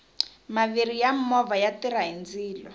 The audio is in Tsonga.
maviri ya movha ya tirha hi ndzilo